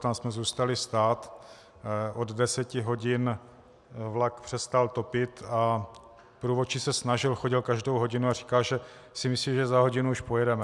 Tam jsme zůstali stát, od deseti hodin vlak přestal topit a průvodčí se snažil, chodil každou hodinu a říkal, že si myslí, že za hodinu už pojedeme.